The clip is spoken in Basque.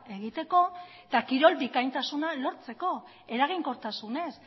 egiteko eta kirol bikaintasuna lortzeko eraginkortasunez